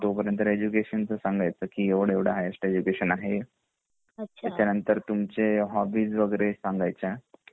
म्हणजे तोपर्यंत तुमच एड्युकेशन सांगेच की एवढं एवढं केलेलं आहे ह्ईगहेसत एड्युकेशन आहे त्याचा नंतर तुमचे होबबीस वगैरे सांगायच्या